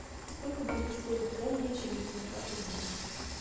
сколько будет стоить тенге через девятнадцать дней